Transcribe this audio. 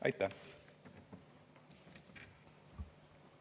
Aitäh!